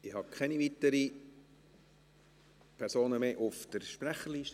Ich habe keine weiteren Personen mehr auf der Sprecherliste.